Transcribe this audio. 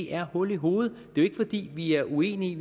er hul i hovedet det er jo ikke fordi vi er uenige